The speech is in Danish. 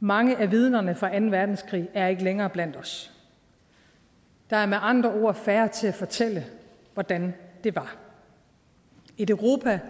mange af vidnerne fra anden verdenskrig er ikke længere blandt os der er med andre ord færre til at fortælle hvordan det var et europa